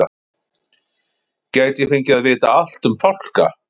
Gæti ég fengið að vita allt um fálka?